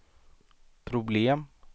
problem